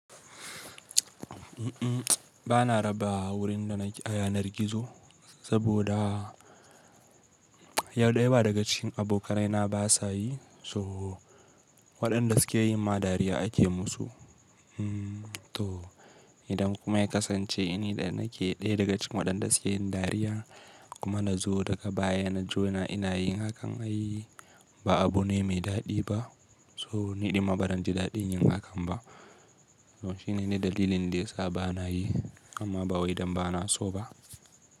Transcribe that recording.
Ba na raba wurin da na yanar gizo saboda yau ɗaya ba daga cikin abokanai na ba sa yi. So waɗanda suke yin ma dariya ake musu. To idan kuma ya kasance ina da nake ɗaya daga cikin waɗanda suke yin dariya kuma na zo daga baya na jona ina yin hakan ai ba abu ne mai daɗi ba. To ni ɗin ma ba zan ji daɗin yin hakan ba. Shine ne dalilin da yasa ba na yi, amma ba wai idan ba na so ba.